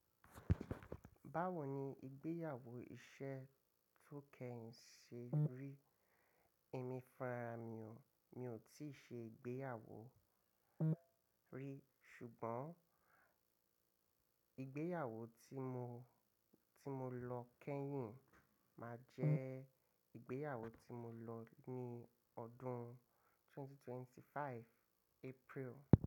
Báwo ni ìgbéyàwó iṣẹ́ tó kẹ́yìn ṣe rí? Ẹ̀mí fun ra mi ò, mi o tí ì ṣe ìgbéyàwó rí ṣùgbọ́n ìgbéyàwó tí mo, tí mo lọ kẹ́hìn máa jẹ ìgbéyàwó tí mo lọ ní ọdún 2025 April.